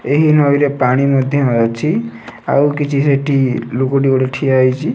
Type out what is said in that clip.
ଏହି ନଈରେ ପାଣି ମଧ୍ୟ ଅଛି ଆଉ କିଛି ସେଠି ଲୋକ ଟେ ଗୋଟେ ଠିଆହେଇଛି।